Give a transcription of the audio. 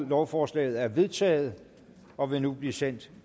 lovforslaget er vedtaget og vil nu blive sendt